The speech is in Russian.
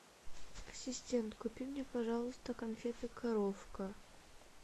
ассистент купи мне пожалуйста конфеты коровка